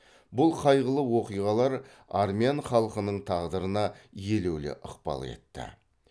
бұл қайғылы оқиғалар армян халқының тағдырына елеулі ықпал етті